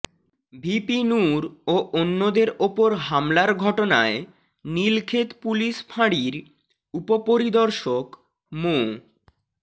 VP Nur ও অন্যদের ওপর হামলার ঘটনায় নীলক্ষেত পুলিশ ফাঁড়ির উপপরিদর্শক মো